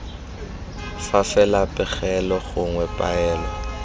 fa fela pegelo gongwe poelo